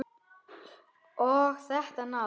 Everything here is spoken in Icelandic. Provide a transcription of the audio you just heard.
Og þetta nafn!